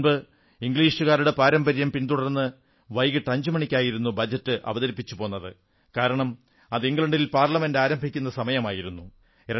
മുമ്പ് ഇംഗ്ലീഷുകാരുടെ പാരമ്പര്യം പിന്തുടർന്ന് വൈകിട്ട് 5 മണിക്കായിരുന്നു ബജറ്റ് അവതരിപ്പിച്ചുപോന്നത് കാരണം അത് ഇംഗ്ലണ്ടിൽ പാർലമെന്റ് ആരംഭിക്കുന്ന സമയമായിരുന്നു